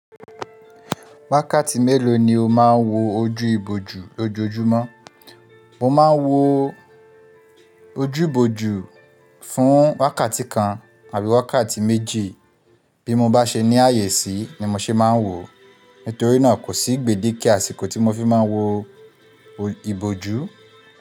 Wákàtí mélòó ni o máa ń wo ojú ibojú lójoojúmọ́? Mo máa ń wo ojú ibojú fún wákàtí kan àbíi wákàtí méji bí mo bá ṣe ní ààyè sí ni mo ṣe máa ń wò ó. Nítorí náà kò sí gbèdíké àsìkò tí mo fi máa ń wo ibojú.